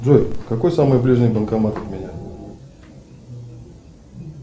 джой какой самый ближний банкомат от меня